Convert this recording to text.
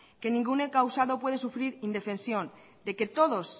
que ningún encausado puede sufrir indefensión de que todos